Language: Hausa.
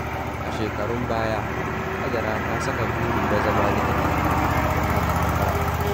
A shekarun baya, Hajara ta saka burin na zama likita, kuma ta ci nasara.